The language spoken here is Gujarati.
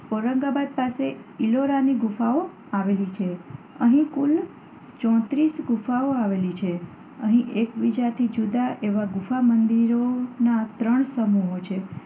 ઔરંગાબાદ પાસે ઈલોરાની ગુફાઓ આવેલી છે. અહીં કુલ ચોત્રીસ ગુફાઓ આવેલી છે. અહીં એકબીજાથી જુદા એવા ગુફા મંદિરોના ત્રણ સમૂહો છે.